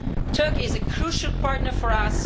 Turkey is a crucial partner for